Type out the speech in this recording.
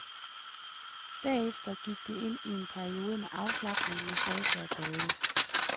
Derefter gik de ind i en periode med afslapning, massage og bade.